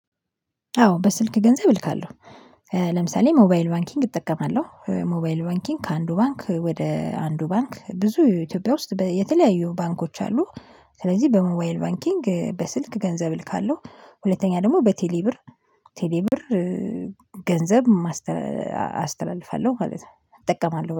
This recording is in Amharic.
አዎ በስልክ ገንዘብ እልካለሁ። ለምሳሌ ሞባይል ባንኪንግ እጠቀማለሁ ሞባይል ባንኪንግ ከአንዱ ባንክ ወደ አንዱ ባንክ ብዙ ኢትዮጵያ ውስጥ የተለያዩ ባንኮች አሉ። ስለዚህ በሞባዋይል ባንኪንግ በስልክ ገንዘብ እልካለሁ። ሁለተኛ ደግሞ በቴሌ ብር ቴሌ ብር ገንዘብ አስተላልፋለሁ ማለት ነው እጠቀማለሁ